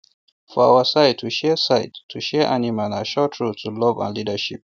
for our side to share side to share animal na um short road to love and leadership